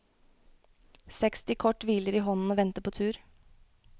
Seksti kort hviler i hånden og venter på tur.